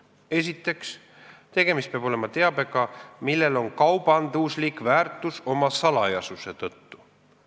Esiteks, tegemist peab olema teabega, millel on kaubanduslik väärtus tema salajasuse tõttu.